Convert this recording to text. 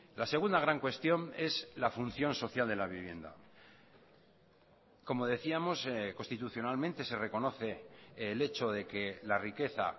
la segunda gran cuestión es la función social de la vivienda como decíamos constitucionalmente se reconoce el hecho de que la riqueza